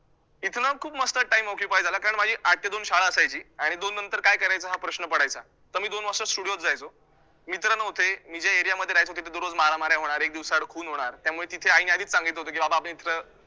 इथनं खूप मस्त time occupied झाला, कारण माझी आठ ते दोन शाळा असायची आणि दोननंतर काय करायचं हा प्रश्न पडायचा, तर मी दोन वाजता studio त जायचो, मित्र नव्हते, मी ज्या area मध्ये राहायचो, तिथे दररोज मारमाऱ्या होणार, एक दिवसाआड खून होणार त्यामुळे तिथे आईने आधीच सांगितलं होतं की बाबा इथे